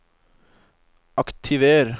aktiver